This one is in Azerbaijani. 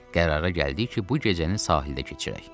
Qərara gəldik ki, bu gecəni sahildə keçirək.